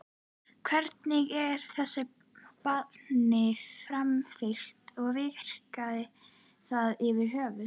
Hvernig er þessu banni framfylgt og virkar það yfir höfuð?